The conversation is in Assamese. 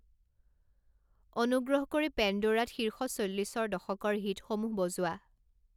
অনুগ্ৰহ কৰি পেণ্ডোৰাত শীৰ্ষ চল্লিশৰ দশকৰ হিটসমূহ বজোৱা